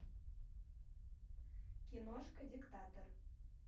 киношка диктатор